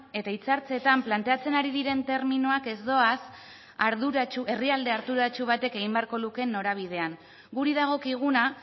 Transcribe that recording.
eta hitzartzetan planteatzen ari diren terminoak ez doaz herrialde arduratsu batek egin beharko lukeen norabidean guri dagokiguna